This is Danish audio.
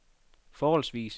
forholdsvis